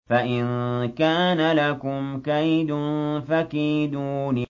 فَإِن كَانَ لَكُمْ كَيْدٌ فَكِيدُونِ